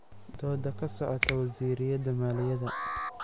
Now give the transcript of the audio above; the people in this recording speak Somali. Dooda kasocota wizarada maliyadha.